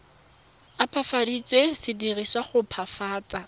opafaditsweng se dirisetswa go opafatsa